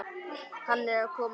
Hann er að koma.